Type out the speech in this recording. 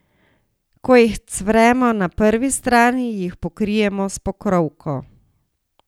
Ko jih cvremo na prvi strani, jih pokrijemo s pokrovko.